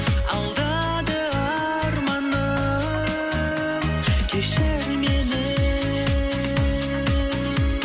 алдады арманым кешір мені